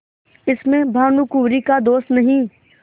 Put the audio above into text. इसमें भानुकुँवरि का दोष नहीं